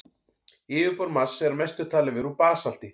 Yfirborð Mars er að mestu talið vera úr basalti.